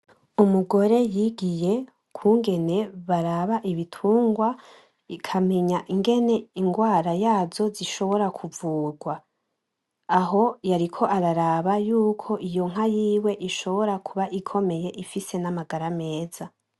Umugore y'igiye ukungene baraba ibitungwa akamenya ingene ingwara yazo zishobora kuvugwa. Aho yariko araraba yuko iyo nka yiwe ishobora kuba ikomeye ifise n'amagara meza.